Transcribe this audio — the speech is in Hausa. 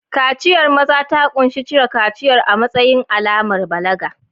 Kaciyar maza ta ƙunshi cire kaciyar a matsayin alamar balaga.